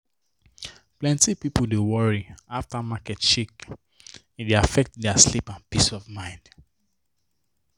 plenty people dey worry after market shake e dey affect their sleep and peace of mind.